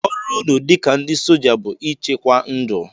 Ọrụ unu dịka ndị soja bụ ịchekwa ndụ!